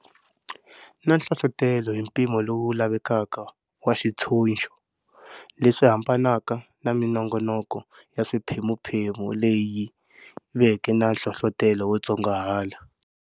Na nhlohlotelo hi mpimo lowu lavekaka wa xitshunxo, leswi hambanaka na minongonoko ya swiphemuphemu leyi veke na nhlohlotelo wo tsongahala.